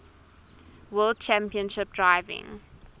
world championship driving